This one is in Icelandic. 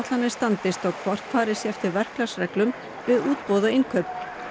kostnaðaáætlanir standist og hvort farið sé eftir verklagsreglum við útboð og innkaup